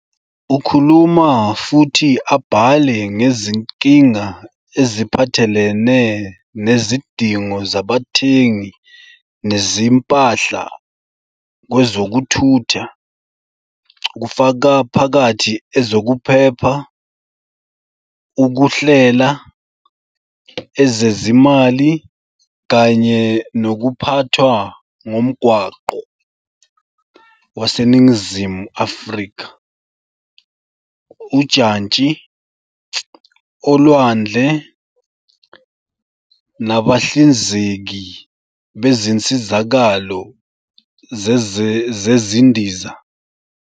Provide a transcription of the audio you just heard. Ukhuluma futhi abhale ngezinkinga eziphathelene nezidingo zabathengi nezimpahla kwezokuthutha, kufaka phakathi ezokuphepha, ukuhlela, ezezimali kanye nokuphathwa ngomgwaqo waseNingizimu Afrika, ujantshi, olwandle, nabahlinzeki bezinsizakalo zezindiza.